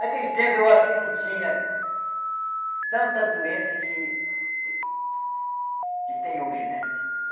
Naquele tempo, eu acho que não tinha tanta doença que que tem hoje, né?